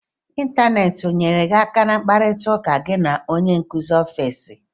Ịntaneti o nyeere gị aka na mkparita ụka gị na onye nkụzi ofesi?